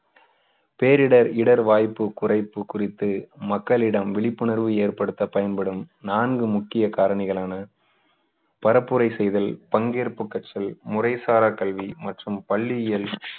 பேரிடர் இடர்வாய்ப்பு குறைப்பு குறித்து மக்களிடம் விழிப்புணர்வு ஏற்படுத்த பயன்படும் நான்கு முக்கிய காரணிகளான பரப்புரை செய்தல் பங்கேற்பு கற்றல் முறைசாரா கல்வி மற்றும் பள்ளியில்